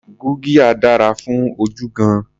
Gurgiya dára fún ojú gan-an.